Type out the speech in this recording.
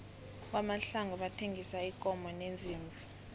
kwamahlangu bathengisa iinkomo neziimvu